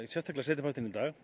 sérstaklega seinni partinn í dag